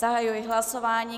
Zahajuji hlasování.